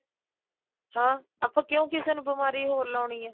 ਹਾਂ ਆਪਾਂ ਕਿਉਂ ਕਿਸੇ ਨੂੰ ਬਿਮਾਰੀ ਹੋਰ ਲਾਉਣੀ ਏ